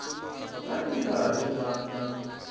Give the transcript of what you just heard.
va ri karhi va n